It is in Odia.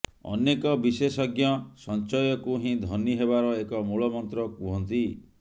ଅନେକ ବିଶେଷଜ୍ଞ ସଂଚୟକୁ ହିଁ ଧନୀ ହେବାର ଏକ ମୂଳ ମନ୍ତ୍ର କୁହନ୍ତି